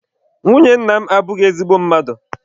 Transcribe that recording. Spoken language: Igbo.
Nwunye nna m abụghị ezigbo mmadụ.